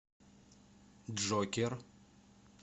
джокер